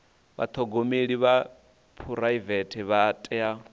vhathogomeli vha phuraivete vha tea